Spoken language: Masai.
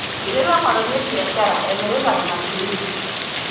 Eiterua ng'otonye biashara emirata oolmaisurin.